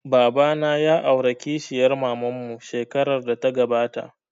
Baba na ya aura kishiyar maman mu shekarar da ta gabata